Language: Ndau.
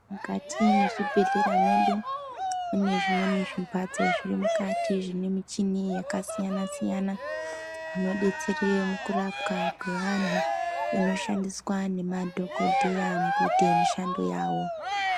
Mukati mwezvibhedhlera mwedu mune zvimweni zvimbatso zviri mukati zvine michini yakasiyana siyana zvinodetsera mukurapwa kweantu zvinoshandiswsa ngemadhokodheya kuita mishando yavo.